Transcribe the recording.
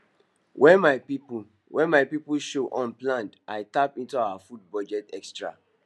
when my people when my people show unplanned i tap into our food budget extra